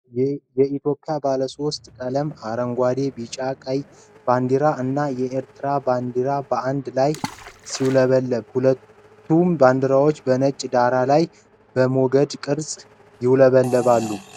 የኢትዮጵያ ባለሶስት ቀለም (አረንጓዴ፣ ቢጫ፣ ቀይ) ባንዲራ እና የኤርትራ ባንዲራ በአንድ ላይ ሲውለበለቡ ። ሁለቱም ባንዲራዎች በነጭ ዳራ ላይ በሞገድ ቅርፅ ይውለበለባል ።